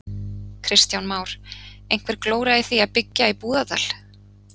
Kristján Már: Einhver glóra í því að byggja í Búðardal?